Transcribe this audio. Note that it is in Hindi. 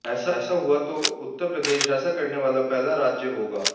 ऐसा हुआ तो उप्र ऐसा करने वाला पहला राज्य होगा